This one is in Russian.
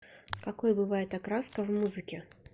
какой бывает окраска в музыке